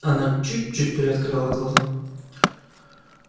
она чуть-чуть приоткрыла глаза